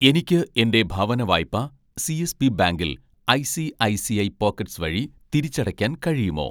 എനിക്ക് എൻ്റെ ഭവനവായ്പ സി.എസ്.ബി ബാങ്കിൽ ഐ.സി.ഐ.സി.ഐ പോക്കറ്റ്‌സ് വഴി തിരിച്ചടയ്ക്കാൻ കഴിയുമോ